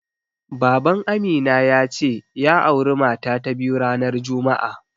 Baban Amina ya ce, ya auri mata ta biyu ranar juma'a.